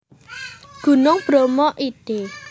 Gunung Bromo id